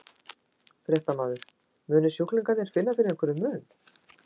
Fréttamaður: Munu sjúklingar finna fyrir einhverjum mun?